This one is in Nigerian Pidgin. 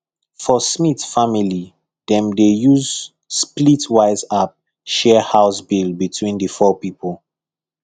for smith family dem dey use splitwise app share house bill between the four people